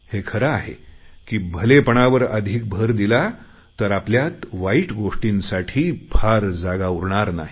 हे खरं आहे की भलेपणावर अधिक भर दिला तर आपल्यात वाईट गोष्टींसाठी फार जागा उरणार नाही